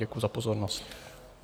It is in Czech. Děkuju za pozornost.